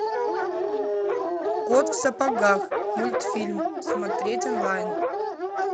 кот в сапогах мультфильм смотреть онлайн